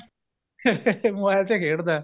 mobile ਤੇ ਖੇਡਦਾ